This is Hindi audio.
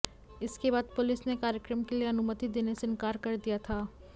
इसके बाद पुलिस ने कार्यक्रम के लिए अनुमति देने से इनकार कर दिया था